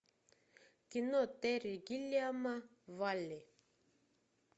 кино терри гиллиама валли